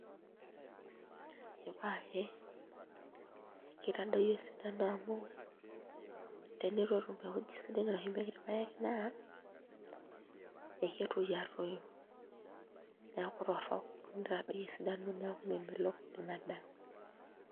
Ipaae kitadoyio esidano amu tenitu etum ewueji sidai nashumieki irpaek naa ekesioki aaku torrok nitadoyio esidano neeku memelok ina daa.